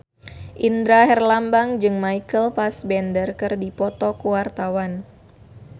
Indra Herlambang jeung Michael Fassbender keur dipoto ku wartawan